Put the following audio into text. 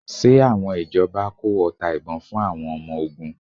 Ṣe àwọn ìjọba kó ọta ìbon fún àwọn ọmọ ogun?